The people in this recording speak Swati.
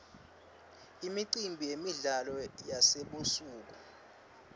imicimbi yemidlalo yasebusuku